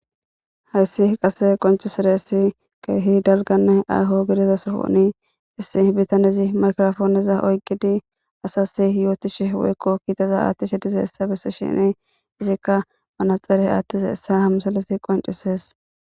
hayssi qase qoncisireessi keehi dalganne ayho gidiza sohoni issi bitanezi makirofooneza oygidi asasi yootishe woykko kiitaza aattishi dize essa bessi shini izikka manaxere attiza essa hamsalisi qoncisees